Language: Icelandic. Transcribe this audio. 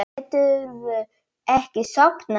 Geturðu ekki sofnað?